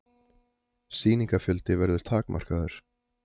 Sýningafjöldi verður takmarkaður